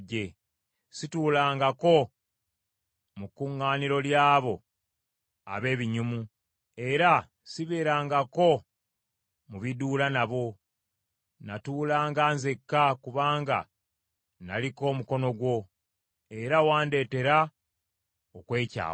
Situulangako mu kuŋŋaaniro ly’abo ab’ebinyumu era sibeerangako mu biduula nabo. Natuulanga nzekka kubanga naliko omukono gwo, era wandeetera okwekyawa.